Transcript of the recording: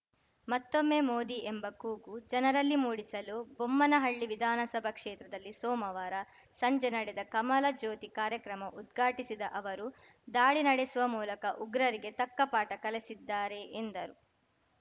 ಮತ್ತೊಮ್ಮೆ ಮೋದಿ ಎಂಬ ಕೂಗು ಜನರಲ್ಲಿ ಮೂಡಿಸಲು ಬೊಮ್ಮನಹಳ್ಳಿ ವಿಧಾನಸಭಾ ಕ್ಷೇತ್ರದಲ್ಲಿ ಸೋಮವಾರ ಸಂಜೆ ನಡೆದ ಕಮಲ ಜ್ಯೋತಿ ಕಾರ್ಯಕ್ರಮ ಉದ್ಘಾಟಿಸಿದ ಅವರು ದಾಳಿ ನಡೆಸುವ ಮೂಲಕ ಉಗ್ರರಿಗೆ ತಕ್ಕಪಾಠ ಕಲಿಸಿದ್ದಾರೆ ಎಂದರು